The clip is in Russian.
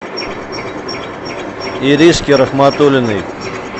иришке рахматуллиной